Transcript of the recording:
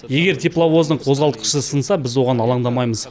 егер тепловоздың қозғалтқышы сынса біз оған алаңдамаймыз